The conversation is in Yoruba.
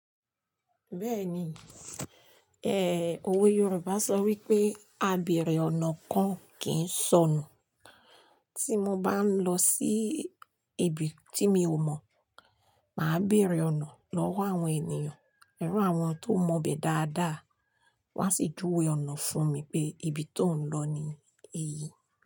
Bẹ́ẹ̀ni, ẹ, òwe Yorùbá sọ wípé "Àbẹ̀rẹ̀ ọ̀nà kan kì í n sọnù." Tí mo bá ń lọ sí ibi tí mi ò mọ̀, màá béèrè ọ̀nà lọ́wọ́ àwọn ènìyàn. Irù àwọn tó mọ bẹ̀ dáadáa, wọ́n á sì juwe ọ̀nà fún mi pé ibi tó ń lọ ni èyí.